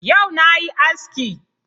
Yau na yi aski